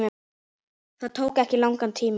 Það tók ekki langan tíma.